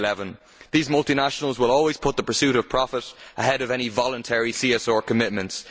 2011. These multinationals will always put the pursuit of profit ahead of any voluntary CSR commitments.